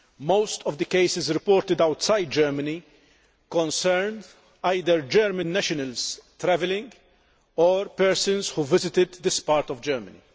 Most of the cases reported outside Germany concern either German nationals travelling or persons who visited this part of Germany.